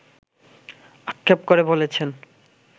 আক্ষেপ করে বলেছেন